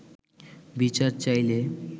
বিচার চাইলে